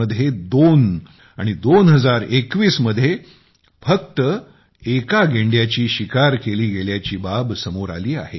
पण आता 2020 मध्ये दोन आणि 2021 मध्ये फक्त एका गेंड्याची शिकार केली गेल्याची बाब समोर आली आहे